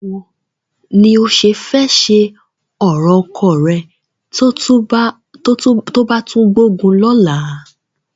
Báwo ni o ṣe fẹ́ ṣe ọ̀rọ̀ ọkọ rẹ tó bá tún gbógun lọ́la?